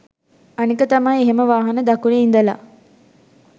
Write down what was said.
අනික තමයි එහෙම වාහන දකුණෙ ඉඳලා